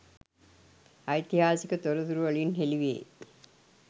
ඓතිහාසික තොරතුරු වලින් හෙළි වේ.